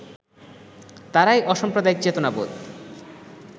তাঁরাই অসাম্প্রদায়িক চেতনাবোধ